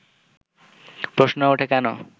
প্রশ্ন ওঠে কেন